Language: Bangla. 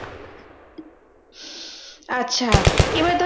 আচ্ছা এবার ধর